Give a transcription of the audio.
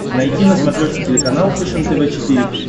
найти на смотрешке телеканал фэшен тв четыре к